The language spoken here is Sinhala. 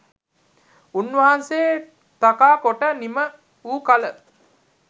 උන්වහන්සේ තකා කොට නිම වූ කල